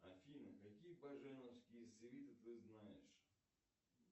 афина какие баженовские свиты ты знаешь